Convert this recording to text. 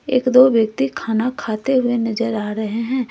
एक दो व्यक्ति खाना खाते हुए नजर आ रहे हैं।